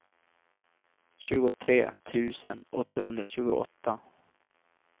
tjugotre tusen åttahundratjugoåtta